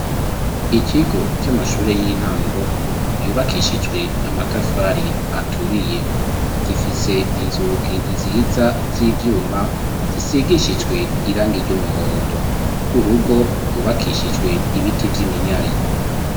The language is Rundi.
Ikigo c'amashure y'intango yubakishijwe amatafari aturiye gifise inzugi nziza z'ivyuma zisigishijwe irangi ry'umuhondo urugo rwubakishijwe ibiti vy'iminyari.